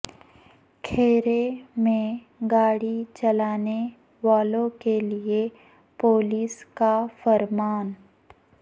کہرے میں گاڑی چلانے والوں کے لئے پو لس کا فرمان